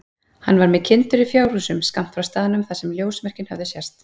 Hann var með kindur í fjárhúsum skammt frá staðnum þar sem ljósmerkin höfðu sést.